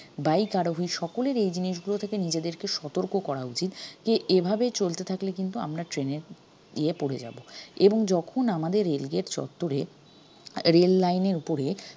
bike আরোহী সকলেরেই এই জিনিসগুলো থেকে নিজেদেরকে সতর্ক করা উচিত যে এভাবে চলতে থাকলে কিন্তু আমরা train এর ইয়ে পড়ে যাব এবং যখন আমাদের rail gate চত্ত্বরে rail line এর উপরে